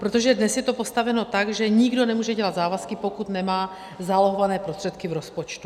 Protože dnes je to postaveno tak, že nikdo nemůže dělat závazky, pokud nemá zálohované prostředky v rozpočtu.